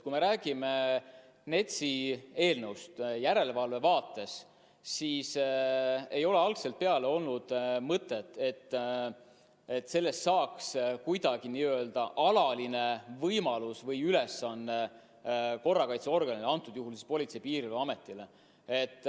Kui me räägime NETS-i eelnõust järelevalve vaates, siis ei ole algusest peale olnud mõtet, et sellest saaks kuidagi n-ö alaline võimalus või ülesanne korrakaitseorganile, antud juhul siis Politsei- ja Piirivalveametile.